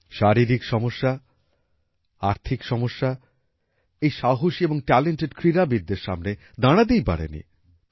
শারীরিক সমস্যা আর্থিক সমস্যা এই সাহসী এবং ট্যালেন্টেড ক্রীড়াবিদদের সামনে দাঁড়াতেই পারেনি